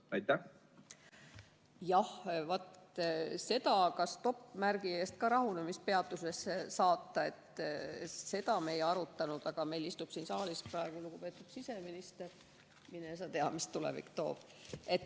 Seda, kas stoppmärgi eest ka rahunemispeatusesse saata, me ei arutanud, aga meil istub siin saalis praegu lugupeetud siseminister ja mine sa tea, mis tulevik toob.